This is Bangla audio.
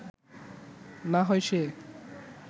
না হয় সে